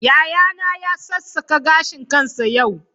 Yayana ya sassaka gashin kansa yau.